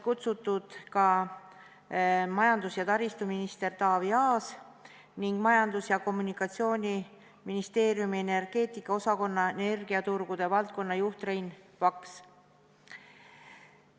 Kutsutud olid ka majandus- ja taristuminister Taavi Aas ning Majandus- ja Kommunikatsiooniministeeriumi energeetika osakonna energiaturgude valdkonnajuht Rein Vaks.